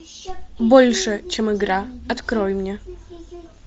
больше чем игра открой мне